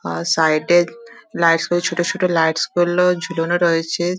আর side -এ lights ছোট ছোট লাইটস গুলো ঝুলানো রয়েছে ।